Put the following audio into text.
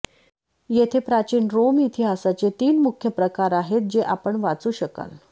येथे प्राचीन रोम इतिहासाचे तीन मुख्य प्रकार आहेत जे आपण वाचू शकाल